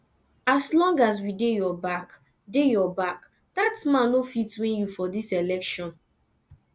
as long as we dey your back dey your back dat man no fit win you for dis election